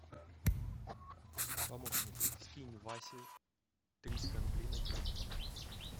помощник скинь васе триста рублей на телефон